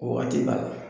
Wagati b'a la